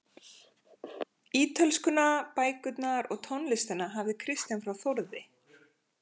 Ítölskuna, bækurnar og tónlistina hafði Kristján frá Þórði